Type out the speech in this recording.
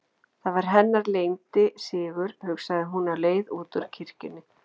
Það var hennar leyndi sigur, hugsaði hún á leið út úr kirkjunni.